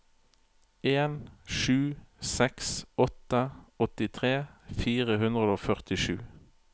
en sju seks åtte åttitre fire hundre og førtisju